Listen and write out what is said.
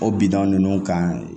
O bida ninnu kan